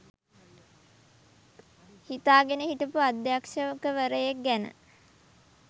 හිතාගෙන හිටපු අධ්‍යක්ෂවරයෙක් ගැන